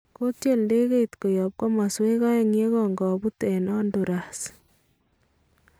Katyol ndekeit koyaab komasweek aeng'u ye kankobuut en Honduras